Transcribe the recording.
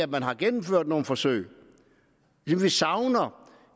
man har gennemført nogle forsøg vi savner